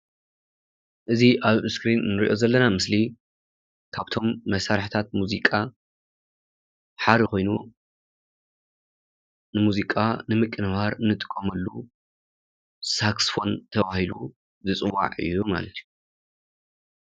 እዚ ኣብ እስክሪን እንሪኦ ዘለና ምስሊ ካብቶም መሣርሕታት ሙዚቃ ሓደ ኾይኑ ሙዚቃ ንምቅንባር እንጥቀመሉ ሳክስፎን ተባሂሉ ዝፅዋዕ እዩ ማለት እዩ።